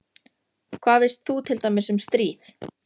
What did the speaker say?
Hvað veist þú til dæmis um stríð?